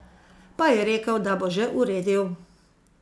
Pa je rekel, da bo že uredil.